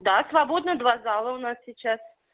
да свободно два зала у нас сейчас